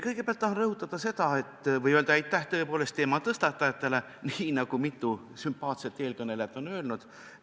Kõigepealt tahan ma rõhutada seda või öelda aitäh teema tõstatajatele, nii nagu mitu sümpaatset eelkõnelejat on juba teinud.